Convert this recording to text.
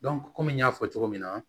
kɔmi n y'a fɔ cogo min na